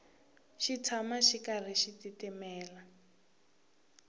xi tshama xi karhi xi titimela